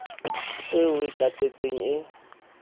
eo o e tatetseng e